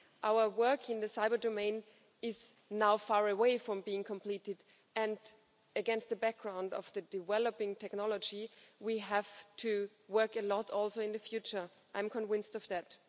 Our work in the cyber domain is now far away from being completed, and against a background of the developing technology, we have to work a lot also in the future I'm convinced of that.